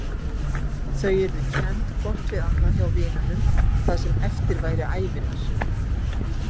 Þau yrðu kennd hvort við annað hjá vinunum það sem eftir væri ævinnar.